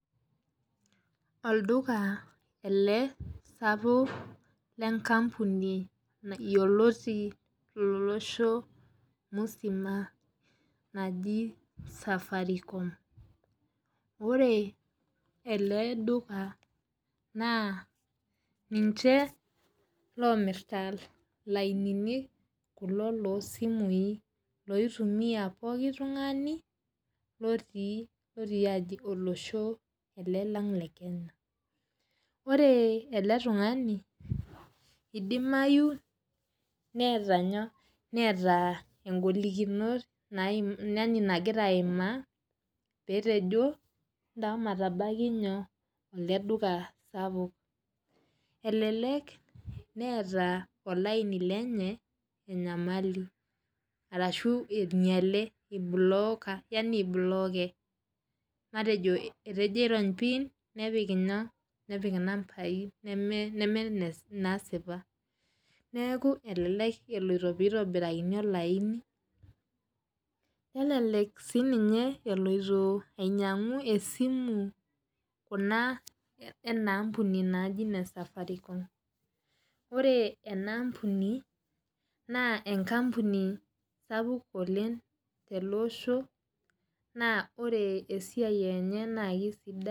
Olduka ele sapuk lenkampuni yioloti tolosho musima loji safaricom, yiolo ele duka ninche omirita lainini kulo losimui oitumiela kila oltungani otii olosho le Kenya ore eletungani edimayu neeta ngolikinot nagira aimaa petejo ntosho matabaki ele duka sapukbelelek neeta olaini lenye enyamali ashu inyale matejo etejo airony pin nepik nambai nemesipa neaku elelek eloito pitobirakitae olaini nelelek eloito ainyangu esiimu enaa ampuni naji Safaricom ore ena ambuni na enkampuni sapuk toloosho ore esiai enye na kesidai.